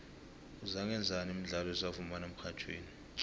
uzangaenzani mdlalo esiwufumana emxhatjhweni